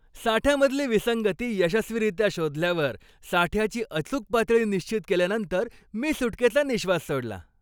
साठ्यामधली विसंगती यशस्वीरित्या शोधल्यावर साठ्याची अचूक पातळी निश्चित केल्यानंतर मी सुटकेचा निश्वास सोडला.